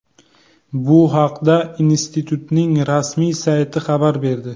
Bu haqda institutning rasmiy sayti xabar berdi .